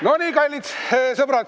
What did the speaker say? No nii, kallid sõbrad!